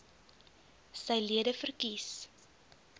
sy lede verkies